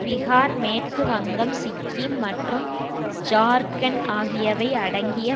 பிகார் மேற்கு வங்கம் சிக்கிம் மற்றும் ஜார்க்கண்ட் ஆகியவை அடங்கிய